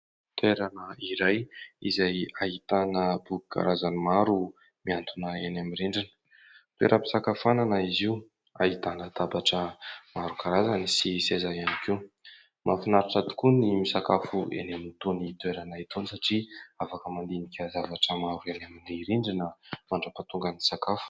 Toerana iray izay ahitana boky karazany maro mihantona eny amin'ny rindrina. Toeram-pisakafoanana izy io ahitana latabatra maro karazana sy seza ihany koa. Mahafinaritra tokoa ny misakafo eny amin'itony toerana itony satria afaka mandinika zavatra maro eny amin'ny rindrina mandrapahatongan'ny sakafo.